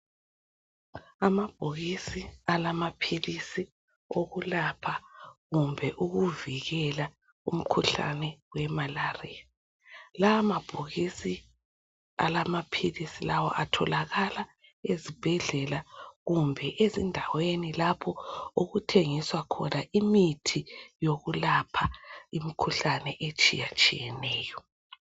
Amabhokisi alamaphilisi okulapha kumbe ukuvikela umkhuhlane wemalaria. Lawa mabhokisi alamaphilisi lawa atholakala ezibhedlela kumbe ezindaweni okuthengiswa imithi yokulapha imikhuhlane etshiyatshiyeneyo.